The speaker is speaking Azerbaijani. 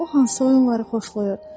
O hansı oyunları xoşlayır?